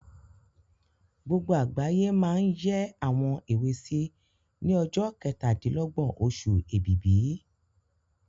Gbogbo àgbáyé máa n yẹ́ àwọn èwe sí ní ọjọ́ kẹtàdílọ́gbọ̀n oṣù Ẹ̀bìbì